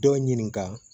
Dɔ ɲininka